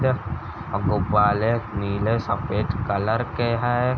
गुब्बाले नीले सफेद कलर के है ।